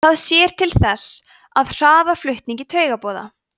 það sér til þess að hraða flutningi taugaboða